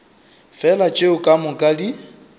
fela tšeo ka moka di